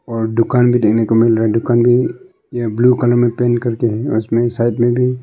और दुकान भी देखने को मिल रहा है दुकान भी यह ब्लू कलर में पेंट करके है और इसमें साइड में भी--